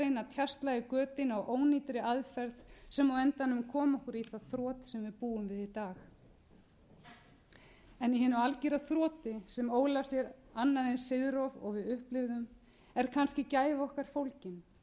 reyna að tjasla í götin á ónýtri aðferð sem á endanum kom okkur í það þrot sem við búum við í dag í hinu algera þroti sem ól af sér annað eins siðrof og við upplifðum er kannski gæti gæfa okkar fólgin fæstum leið vel í